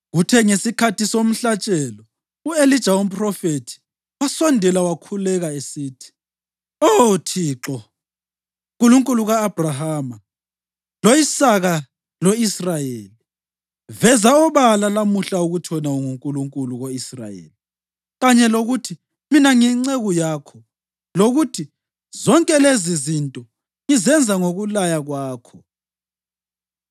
Kuthe ngesikhathi somhlatshelo, u-Elija umphrofethi wasondela wakhuleka esithi, “Oh Thixo, Nkulunkulu ka-Abhrahama, lo-Isaka lo-Israyeli, veza obala lamuhla ukuthi wena unguNkulunkulu ko-Israyeli kanye lokuthi mina ngiyinceku yakho, lokuthi zonke lezizinto ngizenza ngokulaya kwakho.